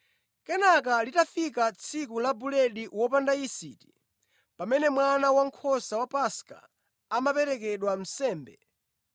Kenaka linafika tsiku la buledi wopanda yisiti pamene mwana wankhosa wa Paska amaperekedwa nsembe.